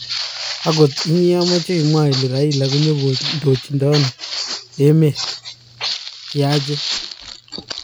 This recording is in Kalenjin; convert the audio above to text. angot inye amache imwa ile raila konyikondochhin�emet�kiaje